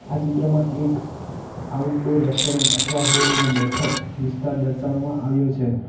આ ચિત્રમાં એક આઉટડોર રેસ્ટોરેન્ટ અઠવા હોલ ના બેઠક વિસ્તાર દર્શાવવામાં આવ્યો છે.